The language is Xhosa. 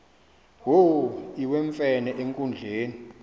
wo iwemfene enkundleni